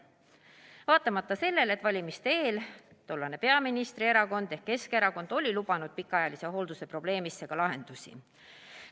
Seda vaatamata sellele, et valimiste eel tollane peaministrierakond ehk Keskerakond oli lubanud pikaajalise hoolduse probleemile ka lahendusi.